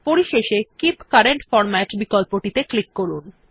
পরিশেষে keep current format বিকল্প টিতে ক্লিক করুন